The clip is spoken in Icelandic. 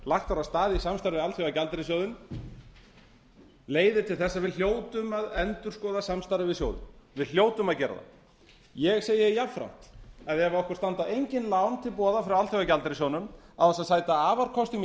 lagt var af stað í samstarf við alþjóðagjaldeyrissjóðinn leiðir til þess að við hljótum að endurskoða samstarfið við sjóðinn við hljótum að gera það ég segi jafnframt að ef okkur standa engin lán til boða frá alþjóðagjaldeyrissjóðnum án þess að sæta afarkostum í